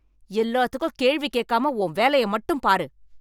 எல்லாத்துக்கும் கேள்வி கேட்காம உன் வேலையை மட்டும் பாரு.